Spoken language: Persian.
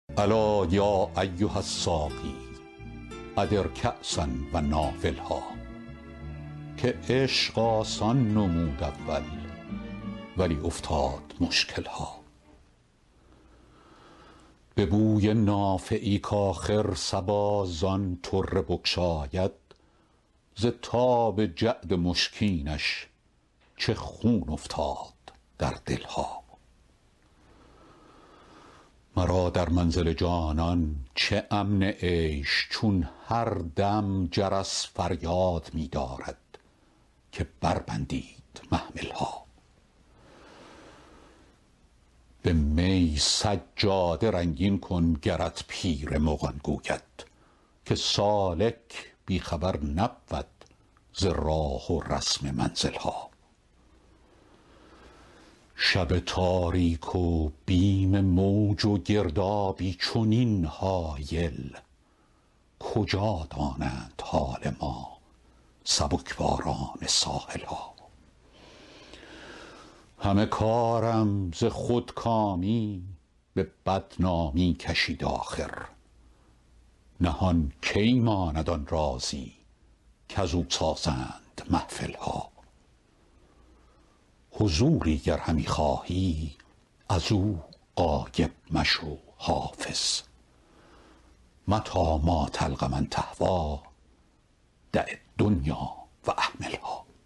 الا یا ایها الساقی ادر کأسا و ناولها که عشق آسان نمود اول ولی افتاد مشکل ها به بوی نافه ای کآخر صبا زان طره بگشاید ز تاب جعد مشکینش چه خون افتاد در دل ها مرا در منزل جانان چه امن عیش چون هر دم جرس فریاد می دارد که بربندید محمل ها به می سجاده رنگین کن گرت پیر مغان گوید که سالک بی خبر نبود ز راه و رسم منزل ها شب تاریک و بیم موج و گردابی چنین هایل کجا دانند حال ما سبک باران ساحل ها همه کارم ز خودکامی به بدنامی کشید آخر نهان کی ماند آن رازی کزو سازند محفل ها حضوری گر همی خواهی از او غایب مشو حافظ متیٰ ما تلق من تهویٰ دع الدنیا و اهملها